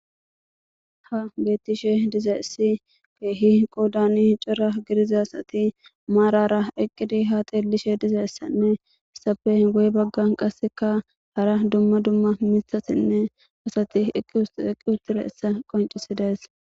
Haa betishshe dizayiss kehi qodanni cora gidizza asati marara eqqidd haa xeellishe dizayissa nne hessappe guye baganni qaasekka hara dumma dumma miththatinne asati eqqi uttidayissa qonccissides.